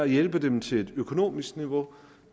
hjælpe dem til et økonomisk niveau